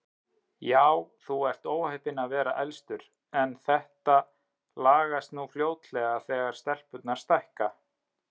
Já, þú ert óheppinn að vera elstur, en þetta lagast nú fljótlega þegar stelpurnar stækka